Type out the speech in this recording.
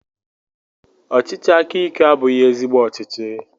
Ọchịchị aka ike abụghị ezigbo ọchịchị